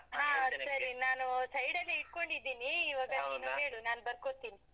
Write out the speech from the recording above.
ನಾನು side ಅಲ್ಲೇ ಹಿಡ್ಕೊಂಡಿದೀನಿ. ನೀನ್ ಹೇಳು ನಾನ್ ಬರ್ಕೋತಿನಿ.